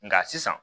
Nka sisan